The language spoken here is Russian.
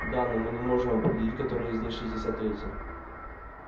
да но мы не можем определить который из них шестьдесят третий